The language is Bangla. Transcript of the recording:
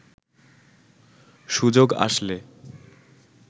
সুযোগ আসলে